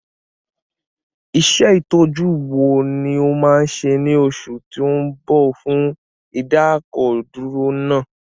Iṣẹ́ Ìtọ́jú wo ni o máa ṣe ní oṣù tó ń bọ̀ fún ìdákọ̀dúró náà?